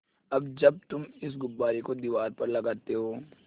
अब जब तुम इस गुब्बारे को दीवार पर लगाते हो